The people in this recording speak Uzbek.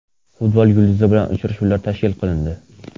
Futbol yulduzi bilan uchrashuvlar tashkil qilindi.